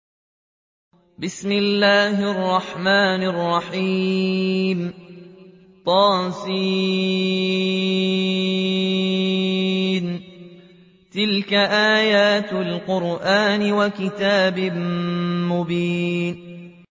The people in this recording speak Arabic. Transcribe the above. طس ۚ تِلْكَ آيَاتُ الْقُرْآنِ وَكِتَابٍ مُّبِينٍ